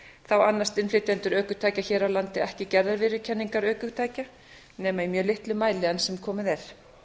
þá annast innflytjendur bifhjóla hér á landi ekki gerðarviðurkenningar ökutækja nema í mjög litlum mæli enn sem komið er